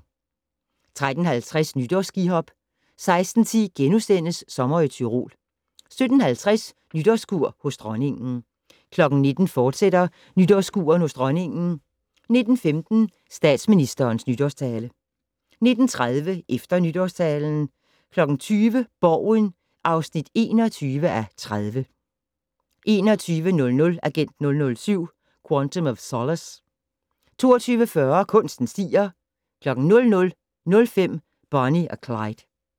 13:50: Nytårsskihop 16:10: Sommer i Tyrol * 17:50: Nytårskur hos Dronningen 19:00: Nytårskur hos Dronningen, fortsat 19:15: Statsministerens Nytårstale 19:30: Efter Nytårstalen 20:00: Borgen (21:30) 21:00: Agent 007: Quantum of Solace 22:40: Kunsten stiger 00:05: Bonnie og Clyde